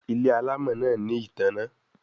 Ile alamò náa ní ìtanná